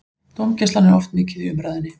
Dómgæslan er oft mikið í umræðunni.